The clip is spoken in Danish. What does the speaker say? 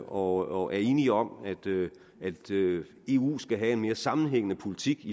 og er enige om at eu skal have en mere sammenhængende politik